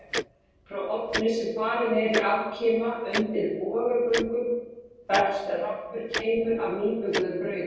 Frá ofni sem falinn er í afkima undir bogagöngum berst rammur keimur af nýbökuðu brauði.